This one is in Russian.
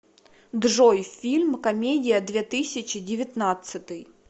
джой фильм комедия две тысячи девятнадцатый